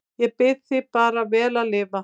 Ég bið þig bara vel að lifa